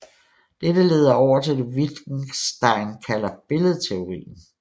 Dette leder over til det Wittgenstein kalder billedteorien